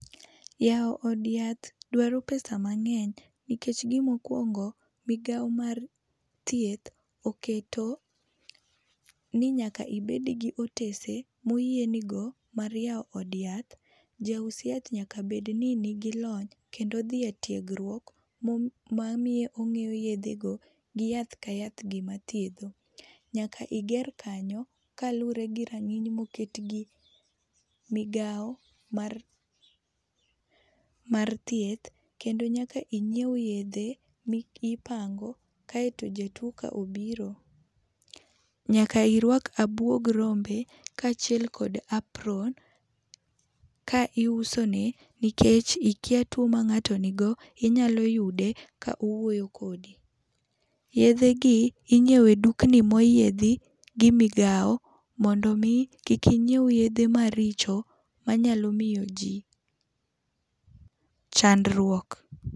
Yao od yath dwaro pesa mang'eny nikech gi ma okuongo, migao mar thieth oketo ni nyaka ibed gi otese mo oyie ni go mar yawo od yath. Jaus yath nyaka bed ni ni gi lony, ma odhi e tiegruok ma miyo ong'e yedhe go gi yath ka yath gi ma thiedho. Nyaka iger kanyo kalure gi ranginy ma oket gi migao mar mar thieth no nyaka ingiew yedhe mi ipango ka irito jatuo ka obiro, nyaka irwak abuog rombe kaachiel kod apron eka ius ne nikech ikia tuo ma ng'ato ni go inyalo yude ka owuoyo kodi. Yedhe gi ing'iewe e dukni ma oyiedhi gi migao mondo mi kik ing'iew yedhe maricho ma nyalo miyo ji chandruok.